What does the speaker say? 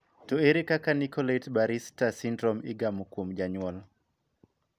To ere kaka Nicolaides Baraitser syndrome igamo kuom jonyuol?